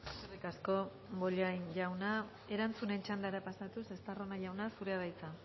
eskerrik asko bollain jauna erantzunen txandara pasatuz estarrona jauna zurea da hitza